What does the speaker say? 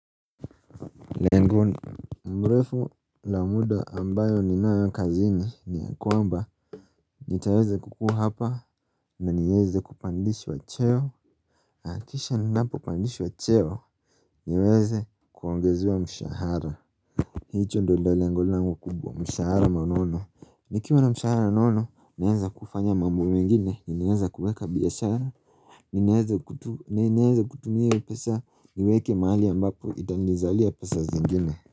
Lengu mrefu la muda ambayo ninaya kazini ni ya kwamba Nitaweze kukuwa hapa na nieze kupandishwa cheo na kisha ninapo pandishwa cheo niweze kuongezewa mshahara. Hicho ndo lengo langu kubwa mshahara manono nikiwa na mshahara nono naenza kufanya mambo mengine ninaeza kuweka biashara ni nieze kutumie pesa niweke mahali ambapo itanizalia pesa zengine.